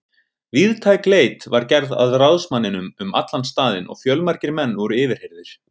Víðtæk leit var gerð að ráðsmanninum um allan staðinn og fjölmargir menn voru yfirheyrðir.